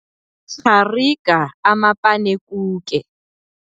Rhariga amapanekuke.